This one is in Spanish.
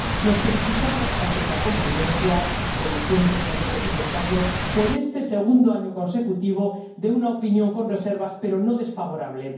Nos felicitamos —aunque sea con prudencia, como siempre en control presupuestario— por este segundo año consecutivo de una opinión con reservas, pero no desfavorable.